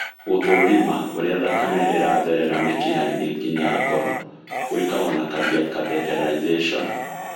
Gũthũrima ũrĩa thakame ĩratherera mĩkiha-inĩ nginya ngoro gwĩkagwo na cardiac catheterization.